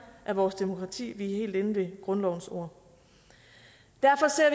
af vores demokrati vi er helt inde ved grundlovens ord derfor ser